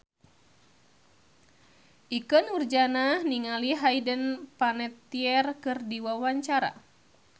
Ikke Nurjanah olohok ningali Hayden Panettiere keur diwawancara